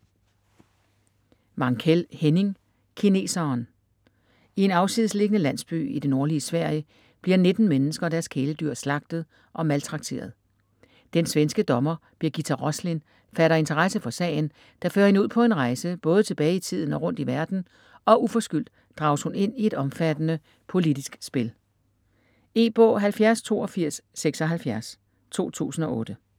Mankell, Henning: Kineseren I en afsidesliggende landsby i det nordlige Sverige bliver 19 mennesker og deres kæledyr slagtet og maltrakteret. Den svenske dommer Birgitta Roslin fatter interesse for sagen der fører hende ud på en rejse både tilbage i tiden og rundt i verden, og uforskyldt drages hun ind i et omfattende politisk spil. E-bog 708276 2008.